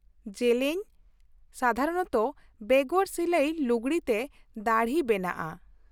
ᱡᱮᱞᱮᱧ, ᱥᱟᱫᱷᱟᱨᱚᱱᱚᱛᱚ ᱵᱮᱜᱚᱨ ᱥᱤᱞᱟᱹᱭ ᱞᱩᱜᱲᱤ ᱛᱮ ᱫᱟᱹᱲᱦᱤ ᱵᱮᱱᱟᱜᱼᱟ ᱾